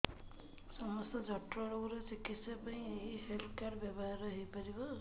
ସମସ୍ତ ଜଟିଳ ରୋଗର ଚିକିତ୍ସା ପାଇଁ ଏହି ହେଲ୍ଥ କାର୍ଡ ବ୍ୟବହାର ହୋଇପାରିବ